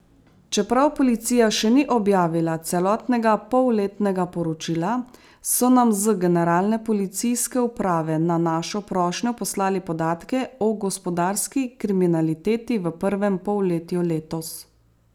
Čeprav Policija še ni objavila celotnega polletnega poročila, so nam z Generalne policijske uprave na našo prošnjo poslali podatke o gospodarski kriminaliteti v prvem polletju letos.